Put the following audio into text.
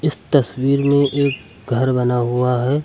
तस्वीर में एक घर बना हुआ है।